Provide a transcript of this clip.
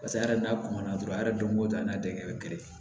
Paseke a yɛrɛ n'a kɔn na dɔrɔn a yɛrɛ don ko don a n'a denkɛ bɛ gere